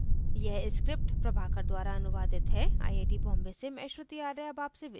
यह स्क्रिप्ट प्रभाकर द्वारा अनुवादित है आई आई टी बॉम्बे से मैं श्रुति आर्य अब आपसे विदा लेती हूँ